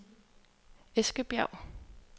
Eskebjerg